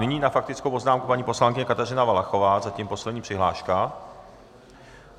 Nyní na faktickou poznámku paní poslankyně Kateřina Valachová, zatím poslední přihláška.